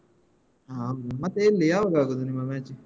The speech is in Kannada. ಹ ಮತ್ತೆ ಎಲ್ಲಿ ಯಾವಾಗ ಆಗುದು ನಿಮ್ಮ match?